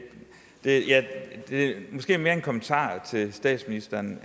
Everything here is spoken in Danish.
er måske mere en kommentar til statsministeren